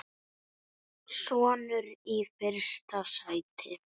Sonur: Í fyrsta sæti.